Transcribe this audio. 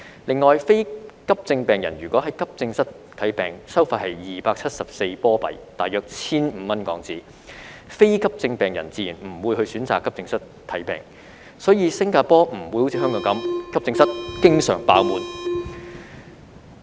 另外，非急症病人如果在急症室看病，收費是274新加坡元，即大約 1,500 港元，非急症病人自然不會選擇到急症室看病，所以新加坡不會像香港般，急症室經常"爆滿"。